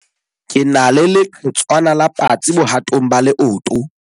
Ke na le leqhetswana la patsi bohatong ba leoto.